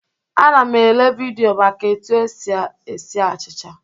Ana m ele vidịo maka etu esi esi achịcha.